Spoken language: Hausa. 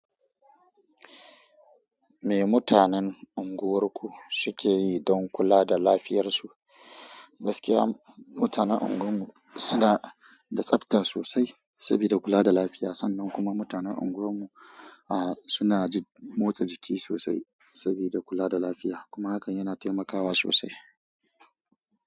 Me mutanen unguwarku sukeyi don kula da lafiyar su gaskiya mutanen unguwar mu suna da tsafta sosai sabida kula da lafiya sannan kuma mutanen unguwar mu a suna motsa jiki sosai sabida kula da lafiya kuma hakan yana taimakawa sosai.